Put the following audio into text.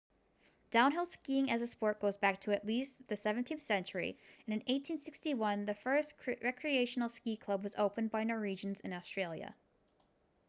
downhill skiing as a sport goes back to at least the 17th century and in 1861 the first recreational ski club was opened by norwegians in australia